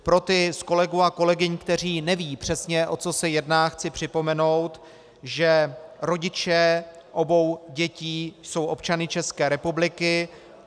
Pro ty z kolegů a kolegyň, kteří nevědí přesně, o co se jedná, chci připomenout, že rodiče obou dětí jsou občany České republiky.